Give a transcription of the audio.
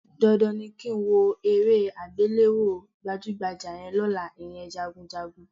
Dandan ni kí n wo eré àgbéléwò gbàjúgbajà yẹn lọ́la, ìyẹn Jagunjagun